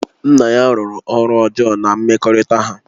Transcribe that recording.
Nna ya rụrụ ọrụ ọjọọ na mmekọrịta ha